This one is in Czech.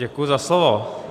Děkuji za slovo.